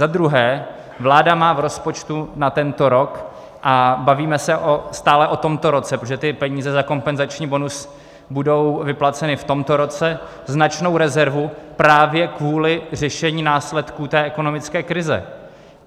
Za druhé, vláda má v rozpočtu na tento rok - a bavíme se stále o tomto roce, protože ty peníze za kompenzační bonus budou vyplaceny v tomto roce - značnou rezervu právě kvůli řešení následků té ekonomické krize.